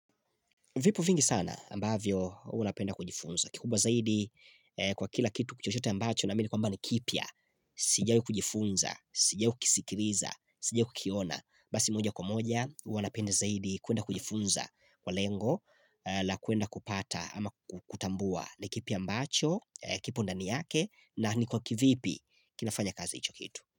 Vipo vingi sana ambavyo hua napenda kujifunza. Kikubwa zaidi kwa kila kitu chochote ambacho naamini kwamba ni kipya. Sijawai kujifunza, sijawai kisikiliza, sijawai kukiona. Basi moja kwa moja hua napenda zaidi kuenda kujifunza kwa lengo la kuenda kupata ama kutambua ni kipi ambacho kipo ndani yake na ni kwa kivipi kinafanya kazi hicho kitu.